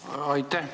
Aitäh!